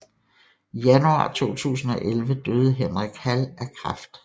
I januar 2011 døde Henrik Hall af kræft